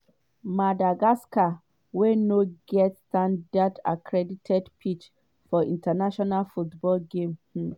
madagascar wey no get standard accredited pitch for international football games. um